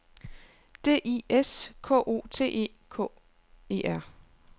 D I S K O T E K E R